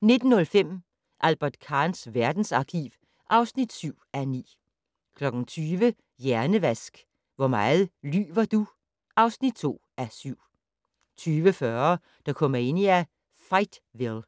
19:05: Albert Kahns verdensarkiv (7:9) 20:00: Hjernevask - Hvor meget lyver du? (2:7) 20:40: Dokumania: Fightville